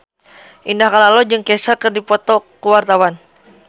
Indah Kalalo jeung Kesha keur dipoto ku wartawan